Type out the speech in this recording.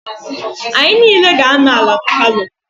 Anyị niile ga-anọ ala na palọ.